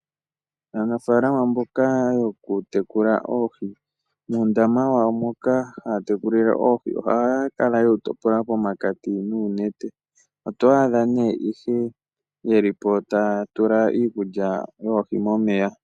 Aanafaalama mboka yokutekula oohi, uundama wawo moka taya tekulile oohi ohaya kala ye wu topola pomakati noonete. Oto adha ihe ye li po taya tula iikulya yoohi momeya.